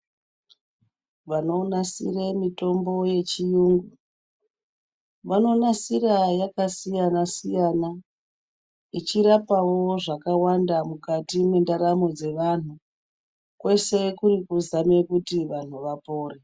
Vanonasire mitombo yechiyungu vanomasira yakasiyana siyana ichirapawo zvakawanda mukati mendaramo dzevanhu kwese kurikuzame kuti vanhu vapore.